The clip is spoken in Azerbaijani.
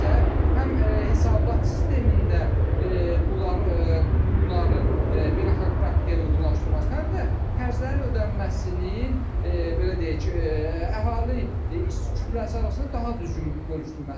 Bu sadəcə həm hesabat sistemində bunlar bu qurumların beynəlxalq praktikaya uyğunlaşdırılması, həm də xərclərin ödənilməsinin belə deyək, əhali kütləsi arasında daha düzgün bölüşdürülməsidir.